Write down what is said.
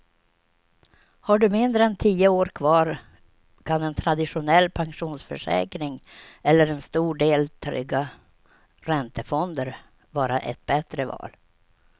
Har du mindre än tio år kvar kan en traditionell pensionsförsäkring eller en stor del trygga räntefonder vara ett bättre val.